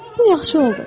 Bu yaxşı oldu.